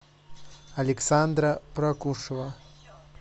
александра прокушева